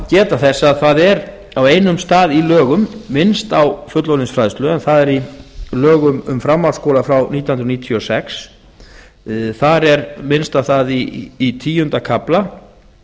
geta þess að það er á einum stað í lögum minnst á fullorðinsfræðslu en það er í lögum um framhaldsskóla frá nítján hundruð níutíu og sex þar er minnst á það í tíunda kafla